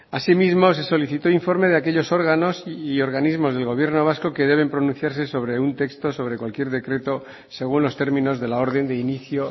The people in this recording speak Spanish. asimismo se solicitó informe de aquellos órganos y organismos del gobierno vasco que deben pronunciarse sobre un texto sobre cualquier decreto según los términos de la orden de inicio